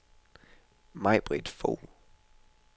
Maj-Britt Fogh